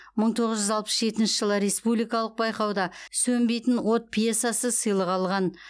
мың тоғыз жүз алпыс жетінші жылы республикалық байқауда сөнбейтін от пьесасы сыйлық алған